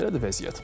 Belədir vəziyyət.